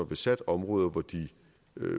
besat områder hvor de